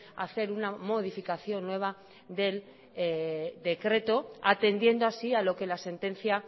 a hacer una modificación nueva del decreto atendiendo así a lo que la sentencia